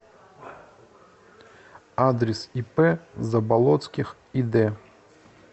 адрес ип заболотских ид